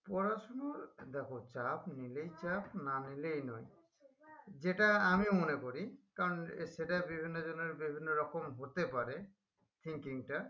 পড়াশুনোর দেখো চাপ নিলেই চাপ না নিলেই নয় যেটা আমিও মনে করি কারণ সেটা বিভিন্ন জনের বিভিন্ন রকম হতে পারে thinking টা